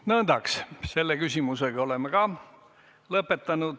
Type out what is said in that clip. Nõndaks, selle küsimusega oleme ka lõpetanud.